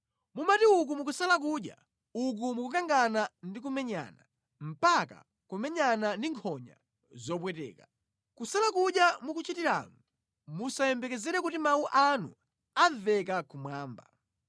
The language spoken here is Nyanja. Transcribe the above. Mumati uku mukusala kudya, uku mukukangana ndi kumenyana, mpaka kumenyana ndi nkhonya zopweteka. Kusala kudya mukuchitiramu musayembekezere kuti mawu anu amveka kumwamba.